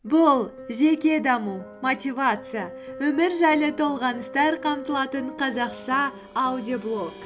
бұл жеке даму мотивация өмір жайлы толғаныстар қамтылатын қазақша аудиоблог